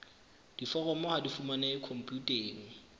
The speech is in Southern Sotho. diforomo ha di fumanehe khomputeng